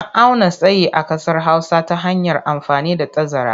An auna tsayi a ƙasar Hausa ta hanyar amfani da tazara.